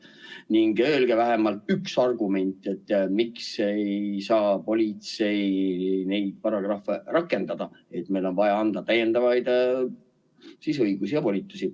Ning öelge vähemalt üks argument, miks ei saa politsei neid paragrahve rakendada, nii et meil on vaja anda täiendavaid õigusi ja volitusi.